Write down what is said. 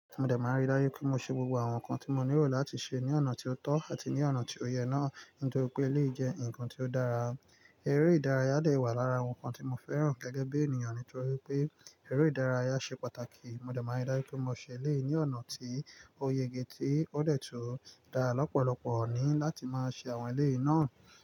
Mo dẹ̀ ma rí dájú pé mo ṣe gbogbo àwọn nǹkan tí mo nílò láti ṣe ní ọ̀nà tí ó tọ́ àti ní ọ̀nà tí ó yẹ náà, nítorí pé eléyìí jẹ́ nǹkan tí ó dára. Eré ìdárayá dẹ̀ wà lára àwọn nǹkan tí mo fẹ́ràn gẹ́gẹ́ bí ènìyàn nítorí pé, eré ìdárayá ṣe pàtàkì. Mo dẹ̀ ma àrí dájú pé mo ṣe ilé ní ọ̀nà tí ó yege tí ó dẹ̀ tún dá lọ́pọ̀lọpọ̀ ni láti máa ṣe àwọn eléyìí náà.